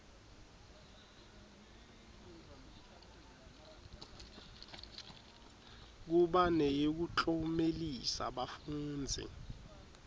kuba neyekuklomelisa bafundzi